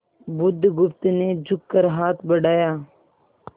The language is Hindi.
बुधगुप्त ने झुककर हाथ बढ़ाया